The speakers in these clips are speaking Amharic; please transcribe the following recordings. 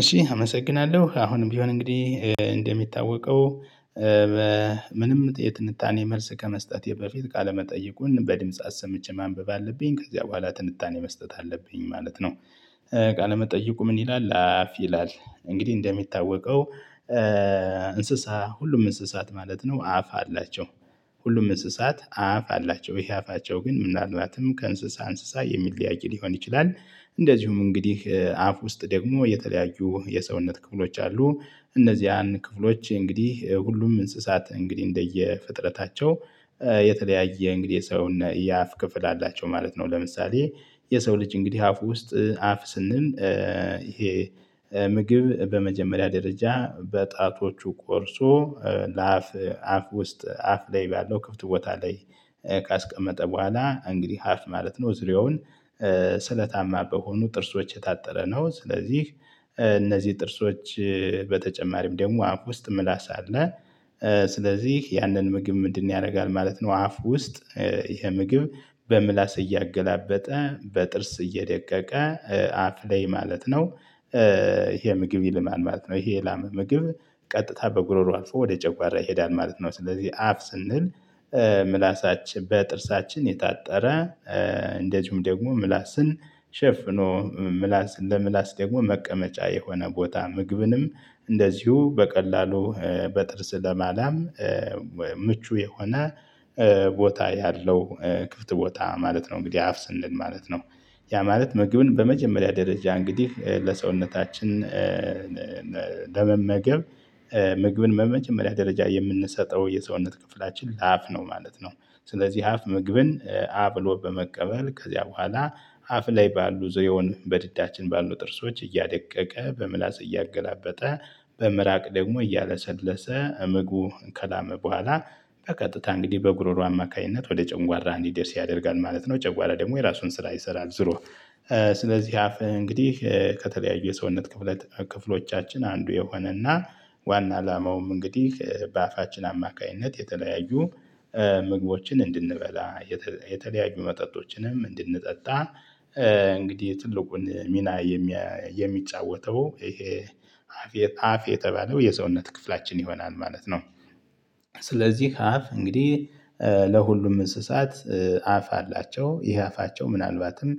እሺ አመሰግናለሁ አሁንም ቢሆን እንግዲህ እንደሚታወቀው በምንም የትንታኔ መልስ ከመስጠቴ በፊት ቃለመጠይቁን በድምጽ አሰምቼ ማንበብ አለብኝ ከዚያ ቡሃላ ትንጣኔ መስጠት አለብኝ ማለት ነው። ቃለመጠይቁ ምን ይላል አፍ ይላል? እንግዲህ እንደሚታወቀው እንስሳ ሁሉም እንስሳት ማለት ነው አፍ አላቸው። ሁሉም እንስሳት አፍ አላቸው ይሄ አፋቸው ግን ምናልባትም ከእንስሳ እንስሳ የሚለያይ ሊሆን ይችላል። እንደዚሁም እንግዲህ አፍ ውስጥ ደግሞ የተለያዩ የሰውነት ክፍሎች አሉ። እነዚህ ክፍሎች እንግዲህ ሁሉም እንስሳት እንግዲህ እንደየ ፍጥረታቸው የተለያየ እንግዲህ የአፍ ክፍል አላቸው ማለት ነው። ለምሳሌ የሰው ልጅ እንግዲህ አፍ ውስጥ አፍ ስንል ይሄ ምግብ በመጀመሪያ ደረጃ በጣቶቹ ቆርሶ ለአፍ አፍ ውስጥ አፍ ላይ ባለው ክፍት ቦታ ላይ ካስቀመጠ ቡሃላ እንግዲህ አፍ ማለት ነው። ዙሬውን ስለታማ በሆኑ ጥርሶች የታጠረ ነው። ስለዚህ እነዚህ ጥርሶች በተጨማሪም ደግሞ አፍ ውስጥ ምላስ አለ። ስለዚህ ያንን ምግብ ምንድነው ያደርጋል ማለት ነው። አፍ ውስጥ ይሄ ምግብ በምላስ እያገላበጠ በጥርስ እየደቀቀ አፍ ላይ ማለት ነው። ይሄ ምግብ ይልማል ማለት ነው። ይሄ የላመ ምግብ ቀጥታ በጉሮሮ አልፎ ወደ ጨጓራ ይሄዳል ማለት ነው። ስለዚህ አፍ ስንል ምላሳችን በጥርሳችን የታጠረ እንደዚሁም ደግሞ ምላስን ሸፍኖ ምላስ ለምላስ ደግሞ መቀመጫ የሆነ ቦታ ምግብንም እንደዚሁ በቀላሉ በጥርስ ለማላም ምቹ የሆነ ቦታ ያለው ክፍት ቦታ ማለት ነው። እንግዲህ አፍ ስንል ማለት ነው ያ ማለት ምግብን በመጀመሪያ ደረጃ እንግዲህ ለሰውነታችን ለመመገብ ምግብን በመጀመሪያ ደረጃ የምንሰጠው የሰውነት ክፍላችን ለአፍ ነው ማለት ነው። ስለዚህ አፍ ምግብን አ ብሎ በመቀበል ከዚያ ቡኃላላ አፍ ላይ ባሉ ዙሬውን በድዳችን ባሉ ጥርሶች እያደቀቀ በምላስ እያገላበጠ በምራቅ ደግሞ እያለሰለሰ እምግቡ ከላመ በኋላ በቀጥታ እንግዲህ በጉሮሮ አማካኝነት ወደ ጨንጓራ እንዲደርስ ያደርጋል ማለት ነው። ጨጓራ ደግሞ የራሱን ስራ ይሰራል ዞሮ። ስለዚህ አፍ እንግዲህ ከተለያዩ የሰውነት ክፍለ ክፍሎቻችን አንዱ የሆነና ዋና አላማውም እንግዲህ በአፋችን አማካኝነት የተለያዩ ምግቦችን እንድንበላ የተለያዩ መጠጦችንም እንድንጠጣ እንግዲህ ትልቁን ሚና የሚጫወተው ይሄ አፍ የተባለው የሰውነት ክፍላችን ይሆናል ማለት ነው። ስለዚህ አፍ እንግዲህ ለሁሉም እንስሳት አፍ አላቸው ይሄ አፋቸው ምናልባትም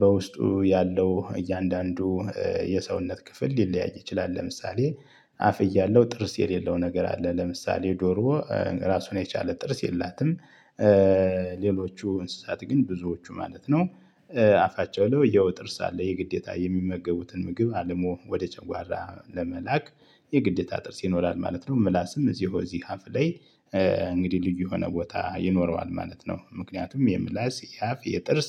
በውስጡ ያለው እያንዳንዱ የሰውነት ክፍል ሊለያይ ይችላል። ለምሳሌ አፍ እያለው ጥርስ የሌለው ነገር አለ ለምሳሌ ዶሮ ራሱን የቻለ ጥርስ የላትም። ሌሎቹ እንስሳት ግን ብዙዎቹ ማለት ነው። አፋቸው ለውያው ጥርስ አለ የግዴታ የሚመገቡትን ምግብ አለሙ ወደ ጨጓራ ለመላክ የግዴታ ጥርስ ይኖራል ማለት ነው። ምላስም እዚሁ አፍ ላይ እንግዲህ ልዩ የሆነ ቦታ ይኖረዋል ማለት ነው። ምክንያቱም የምላስ የአፍ የጥርስ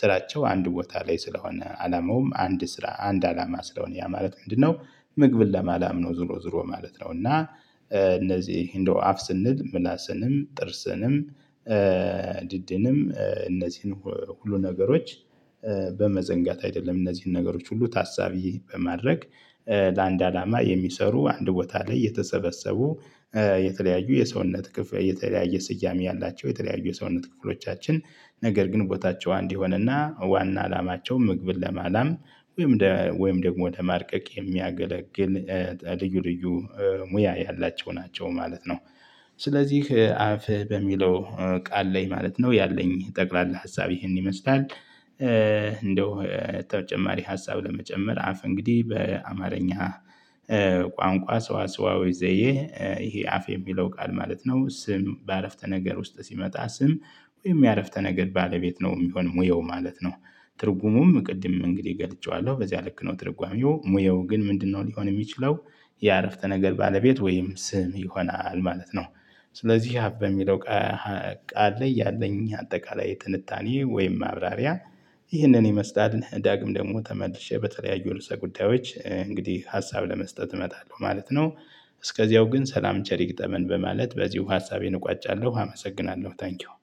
ስራቸው አንድ ቦታ ላይ ስለሆነ አላማውም አንድ ስራ አንድ አላማ ስለሆነ ያ ማለት ምንድነው? ምግብን ለማላም ነው ዞሮ ዞሮ ማለት ነው። እና እነዚህ እንደው አፍ ስንል ምላስንም ጥርስንም ድድንም እነዚህን ሁሉ ነገሮች በመዘንጋት አይደለም እነዚህን ነገሮች ሁሉ ታሳቢ በማድረግ ለአንድ አላማ የሚሰሩ አንድ ቦታ ላይ የተሰበሰቡ የተለያዩ የሰውነት ክፍያ የተለያየ ስያሜ ያላቸው ሰውነት ክፍሎቻችን ነገር ግን ቦታቸው አንድ ይሆንና ዋና አላማቸው ምግብን ለማላም ወይም ወይም ደግሞ ለማድቀቅ የሚያገለግል ልዩ ልዩ ሙያ ያላቸው ናቸው ማለት ነው። ስለዚህ አፍ በሚለው ቃል ላይ ማለት ነው ያለኝ ጠቅላላ ሀሳብ ይህን ይመስላል። እንደው ተጨማሪ ሀሳብ ለመጨመር አፍ እንግዲህ በአማርኛ ቋንቋ ስዋ ስዋ ወይ ዘዬ ይሄ አፍ የሚለው ቃል ማለት ነው ስም በአረፍተ ነገር ውስጥ ሲመጣ ስም ወይም የአረፍተ ነገር ባለቤት ነው የሚሆንም ወይ ማለት ነው። ትርጉሙም ቅድም እንግዲህ ገልጬዋለሁ በዚያ ልክ ነው ትርጓሜው ሙያው ግን ምንድነው ሊሆን የሚችለው? የአረፍተ ነገር ባለቤት ወይም ስም ይሆናል ማለት ነው። ስለዚህ አፍ በሚለው ቃል ላይ ያለኝ አጠቃላይ የትንታኔ ወይም ማብራሪያ ይህንን ይመስላል። ዳግም ደግሞ ተመልሼ በተለያዩ ርዕሰ ጉዳዮች እንግዲህ ሀሳብ ለመስጠት እመጣለሁ ማለት ነው። እስከዚያው ግን ሰላም ቸሪ ይግጠመን በማለት በዚሁ ሀሳቤን እቋጫለሁ አመሰግናለሁ ታንኪው።